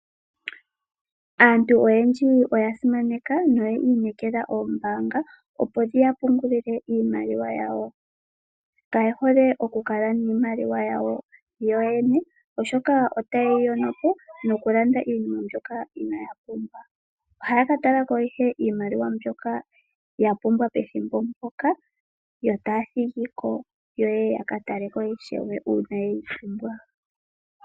Aantu oyendji oya simaneka noyi inekela oombaanga opo dhiya pungulile iimaliwa yawo. Kaye hole okukala niimaliwa yawo yoyene, oshoka otayeyi yonopo nokulanda iinima mbyoka inaaya pumbwa. Ohaya ka talako ihe iimaliwa mbyoka yapumbwa pethimbo mpoka, yo taya thigiko yekeyi taleko uuna yeyi pumbwa.